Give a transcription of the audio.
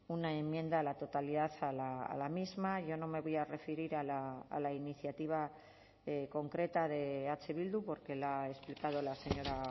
una enmienda a la totalidad a la misma yo no me voy a referir a la iniciativa concreta de eh bildu porque la ha explicado la señora